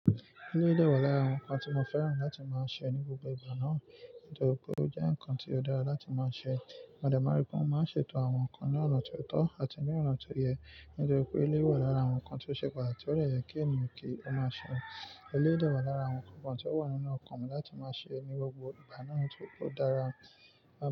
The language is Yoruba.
Elé dẹ́wà lára àwọn nǹkan tí mo fẹ́ràn láti máa ṣe ní gbogbo ìgbà náà, nítorí pé ó jẹ́ nǹkan tí ó dára láti máa ṣe. Mo de ma n ri pe won máa ń ṣètò àwọn nǹkan ní ọ̀nà tó tọ́ àti ní ọ̀nà tó yẹ, nítorí pé elé wà lára àwọn nǹkan tó ṣe pàtàkì tó dẹ̀yẹ kí emi kí ó máa ṣe. Elé dẹ́wà lára àwọn nǹkan kan tí ó wà nínú ọkàn mi láti máa ṣe ní gbogbo ìgbà náà nítorí pé ó dára.